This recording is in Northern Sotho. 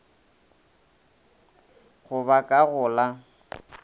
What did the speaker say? go ba ka go la